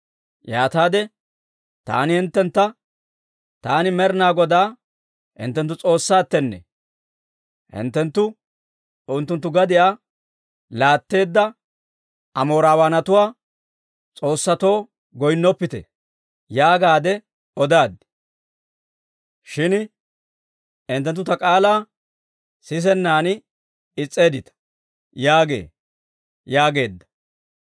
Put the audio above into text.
Yaataade taani hinttentta, «Taani Med'inaa Godaa hinttenttu S'oossaattenne; hinttenttu unttunttu gadiyaa laatteedda Amoorawaanatuwaa s'oossatoo goynnoppite» yaagaadde odaad. Shin hinttenttu ta k'aalaa sisennan is's'eeddita› yaagee» yaageedda.